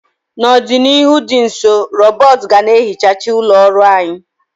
N'ọdịnihu dị nso, rọbọt ga na ehicha ụlọ ọrụ anyị.